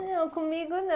Não, comigo não.